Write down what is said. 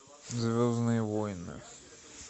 звездные войны